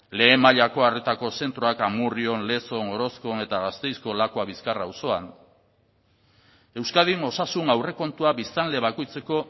lehen mailako arretako zentroak amurrion lezon orozkon eta gasteizko lakuabizkarra auzoan euskadin osasun aurrekontua biztanle bakoitzeko